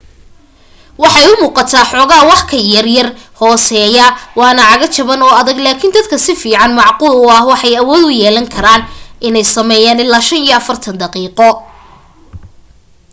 waxay umuuqataa xoogaa waxyar ka yaraya hooseya waana cago jaban oo adag laakin dadka sida fiican macquul u ah waxay awood u yeelan karaan inay sameeyaan ila 45 daqiiqo